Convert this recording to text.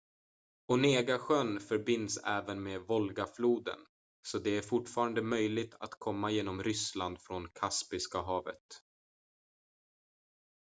onegasjön förbinds även med volgafloden så det är fortfarande möjligt att komma genom ryssland från kaspiska havet